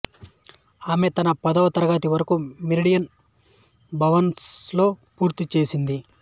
ఆమె తన పదవ తరగతి వరకు మెరిడియాన్ భవనస్ లో పూర్తి చేసింది